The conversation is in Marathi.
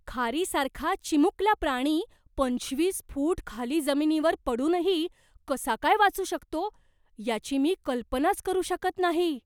खारीसारखा चिमुकला प्राणी पंचवीस फूट खाली जमिनीवर पडूनही कसा काय वाचू शकतो याची मी कल्पनाच करू शकत नाही.